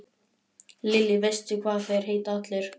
Lillý: Veistu hvað þeir heita allir?